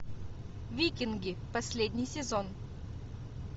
викинги последний сезон